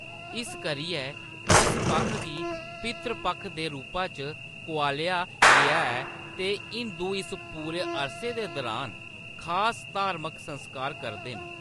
इस करियै इस पक्ख गी पितृपक्ख दे रूपा च कोआलेआ गेआ ऐ ते हिंदू इस पूरे अरसे दे दुरान खास धार्मक संस्कार करदे न।